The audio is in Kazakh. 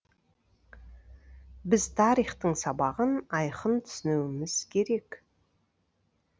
біз тарихтың сабағын айқын түсінуіміз керек